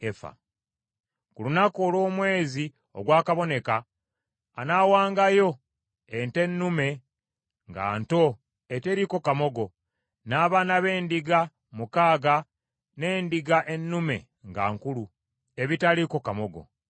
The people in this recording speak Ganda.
Ku lunaku olw’omwezi ogwakaboneka anaawangayo ente ennume nga nto eteriiko kamogo, n’abaana b’endiga mukaaga n’endiga ennume nga nkulu, ebitaliiko kamogo;